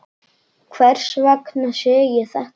Hvers vegna sé ég þetta?